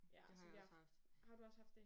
Ja så vi har haft har du også haft det?